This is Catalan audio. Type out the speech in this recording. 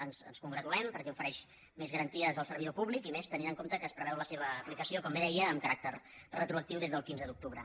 ens en congratulem perquè ofereix més garanties al servidor públic i més tenint en compte que es preveu la seva aplicació com bé deia amb caràcter retroactiu des del quinze d’octubre